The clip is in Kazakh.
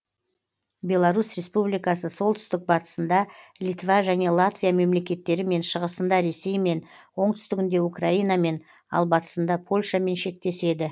беларусь республикасы солтүстік батысында литва және латвия мемлекеттерімен шығысында ресеймен оңтүстігінде украинамен ал батысында польшамен шектеседі